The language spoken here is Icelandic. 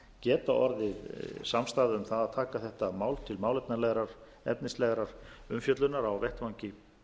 geta orðið samstaða um það að taka þetta mál til málefnalegrar efnislegrar umfjöllunar á vettvangi